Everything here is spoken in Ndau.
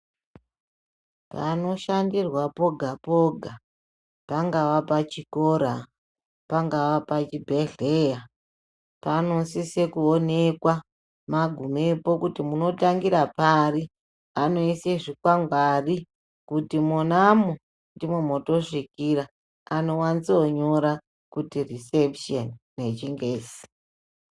Panoshandirwa poga poga pangava pachikora, pangava pachibhedhleya panosise kuonekwa magumepo kuti munotangira pari. Anoise zvikwangwari kuti monamo ndimo motosvikira, anowanzonyora kuti risepusheni, nechiNgezi.